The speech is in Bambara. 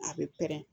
A bɛ pɛrɛn-ɛn